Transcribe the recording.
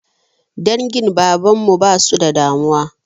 Dangin baban mu ba su da damuwa.